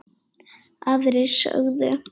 Aðrir sögðu: